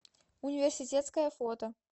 университетское фото